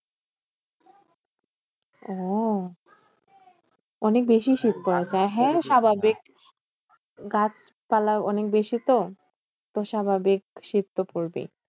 ওহ অনেক বেশি শীত পড়েছে। আর হ্যাঁ স্বাভাবিক গাছপালা অনেক বেশি তো? তো স্বাভাবিক শীত তো পড়বেই।